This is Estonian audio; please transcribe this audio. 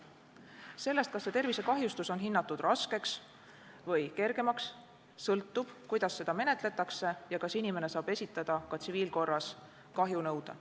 Sellest, kas see tervisekahjustus on hinnatud raskeks või kergemaks, sõltub, kuidas seda menetletakse ja kas inimene saab esitada ka tsiviilkorras kahjunõude.